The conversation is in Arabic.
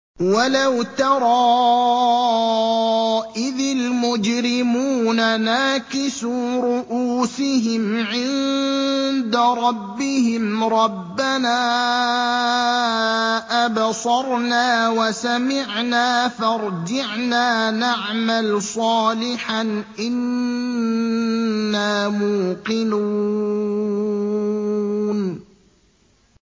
وَلَوْ تَرَىٰ إِذِ الْمُجْرِمُونَ نَاكِسُو رُءُوسِهِمْ عِندَ رَبِّهِمْ رَبَّنَا أَبْصَرْنَا وَسَمِعْنَا فَارْجِعْنَا نَعْمَلْ صَالِحًا إِنَّا مُوقِنُونَ